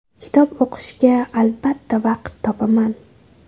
Kitob o‘qishga albatta vaqt topaman.